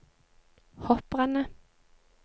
hopprennet